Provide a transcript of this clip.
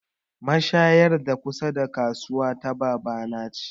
Mashayar da kusa da kasuwa ta baba na ce